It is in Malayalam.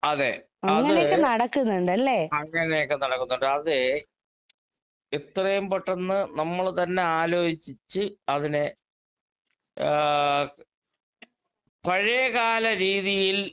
അതെ. അത് അങ്ങനെയൊക്കെ നടക്കുന്നുണ്ട്. അതേ എത്രയും പെട്ടെന്ന് നമ്മള് തന്നെ ആലോചിച്ച് അതിനെ ആഹ് പഴയ കാല രീതിയിൽ